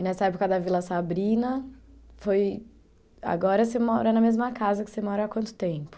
E nessa época da Vila Sabrina, foi... Agora você mora na mesma casa que você mora há quanto tempo?